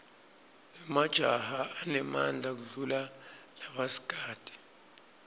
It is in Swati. emajaha anemadla kudulla labasikati